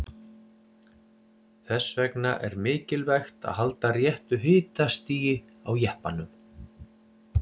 Þess vegna er mikilvægt að halda réttu hitastigi á jeppanum.